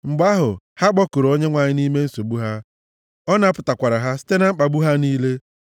Mgbe ahụ, ha kpọkuru Onyenwe anyị, nʼime nsogbu ha, ọ napụtakwara ha site na mkpagbu ha niile.